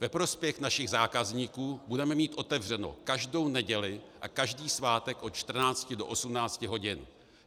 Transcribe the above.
Ve prospěch našich zákazníků budeme mít otevřeno každou neděli a každý svátek od 14.00 do 18.00 hodin.